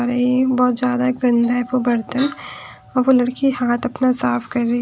बहुत ज्यादा गंदा है वो बर्तन और वो लड़की हाथ अपना साफ कर रही है।